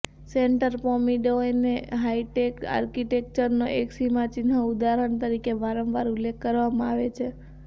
centre પોમ્પીડોઉને high tech આર્કિટેક્ચરનો એક સીમાચિહ્ન ઉદાહરણ તરીકે વારંવાર ઉલ્લેખ કરવામાં આવે છે